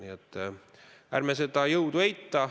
Nii et ärme seda jõudu eita.